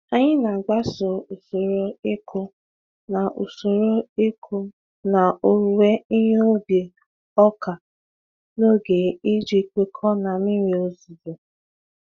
Anyị na-agbaso usoro ịkụ na usoro ịkụ na owuwe ihe ubi ọka n'oge iji kwekọọ na mmiri ozizo.